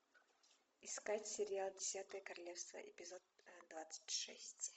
искать сериал десятое королевство эпизод двадцать шесть